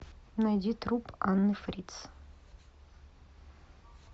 найди труп анны фритц